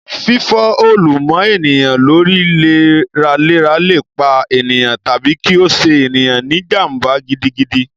Fífọ́ òòlù mọ́ ènìyàn lórí léraléra lè pa ènìyàn, tàbí kí ó ṣe ènìyàn ní jàm̀bà gidigidi